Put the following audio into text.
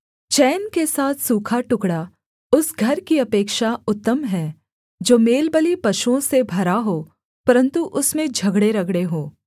चैन के साथ सूखा टुकड़ा उस घर की अपेक्षा उत्तम है जो मेलबलिपशुओं से भरा हो परन्तु उसमें झगड़ेरगड़े हों